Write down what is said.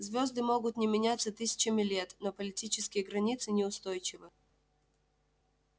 звезды могут не меняться тысячами лет но политические границы неустойчивы